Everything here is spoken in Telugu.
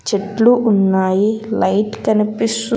చెట్లు ఉన్నాయి లైట్ కనిపిస్తు--